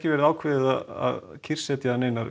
verið ákveðið að kyrrsetja